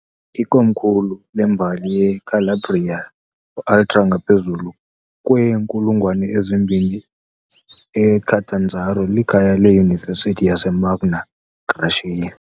Ikomkhulu lembali yeCalabria Ultra ngaphezulu kweenkulungwane ezimbini, iCatanzaro likhaya leyunivesithi yase Magna Graecia.